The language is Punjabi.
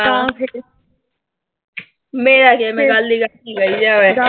ਮੇਰੇ ਕੀ ਆ, ਮੈਂ ਗੱਲ ਈ ਕਰਦੀ ਰਹਿਨੀ ਆਂ ਮੈਂ